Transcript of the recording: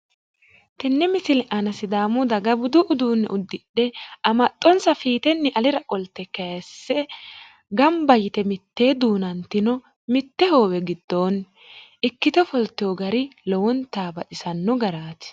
Tenne misile aana sidaamu daga budu uduunne uddidhe amaxxonsa fiitenni alira qolte kayiisse gamba yite mitteenni duunantino mitte hoowe giddoonni ikkite ofoltino gari lowonta baxisanno garaati.